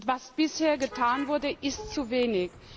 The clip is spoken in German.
Was bisher getan wurde, ist zu wenig.